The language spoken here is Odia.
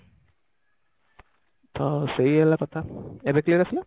ହଁ ସେଇ ହେଲା କଥା ଏବେ clear ଆସିଲା?